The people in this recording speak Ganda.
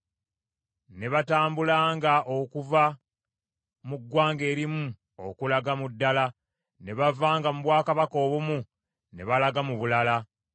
baatambulatambulanga okuva mu ggwanga erimu okulaga mu ddala, ne bavanga mu bwakabaka obumu ne balaga mu bulala.